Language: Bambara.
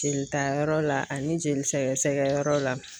Jelita yɔrɔ la ani jeli sɛgɛsɛgɛ yɔrɔ la.